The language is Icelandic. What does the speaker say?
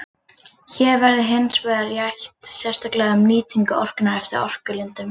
Hér verður hins vegar rætt sérstaklega um nýtingu orkunnar eftir orkulindum.